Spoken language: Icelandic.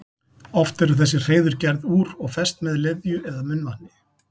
Oft eru þessi hreiður gerð úr og fest með leðju eða munnvatni.